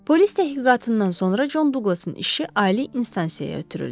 Polis təhqiqatından sonra Con Duqlasın işi ali instansiyaya ötürüldü.